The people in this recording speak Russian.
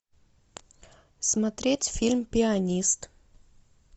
смотреть фильм пианист